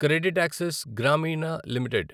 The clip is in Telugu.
CreditAccess Grameen limited